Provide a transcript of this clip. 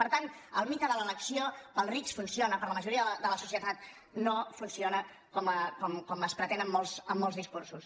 per tant el mite de l’elecció per als rics funciona i per a la majoria de la societat no funciona com es pretén en molts discursos